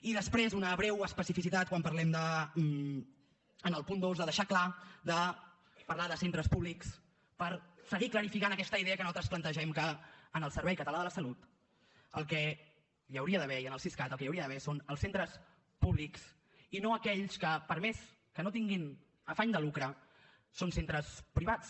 i després una breu especificitat quan parlem en el punt dos de deixar clar de parlar de centres públics per seguir clarificant aquesta idea que nosaltres plantegem que en el servei català de la salut i en el siscat el que hi hauria d’haver són els centres públics i no aquells que per més que no tinguin afany de lucre són centres privats